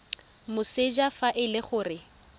moseja fa e le gore